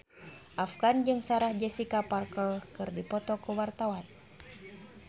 Afgan jeung Sarah Jessica Parker keur dipoto ku wartawan